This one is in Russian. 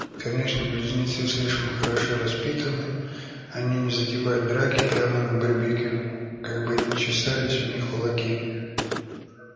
конечно близнецы слишком хорошо воспитаны они не затевают драки прямо на барбекю как бы ни чесались у них кулаки